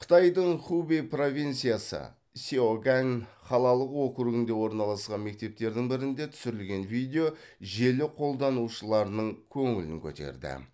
қытайдың хубэй провинциясы сяогань қалалық округінде орналасқан мектептердің бірінде түсірілген видео желі қолданушыларының көңілін көтерді